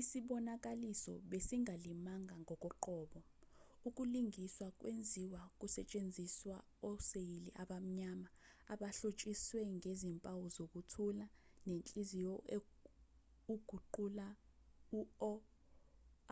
isibonakaliso besingalimanga ngokoqobo ukulingiswa kwenziwa kusetshenziswa oseyili abamnyama abahlotshiswe ngezimpawu zokuthula nenhliziyo ukuguqula u-o